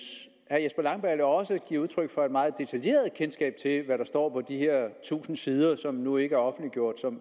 at herre jesper langballe også giver udtryk for et meget detaljeret kendskab til hvad der står på de her tusind sider og som endnu ikke er offentliggjort så må